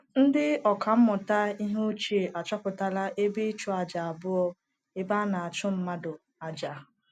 Ndị ọkà mmụta ihe ochie achọpụtala ebe ịchụaja abụọ ebe a na-achụ mmadụ aja.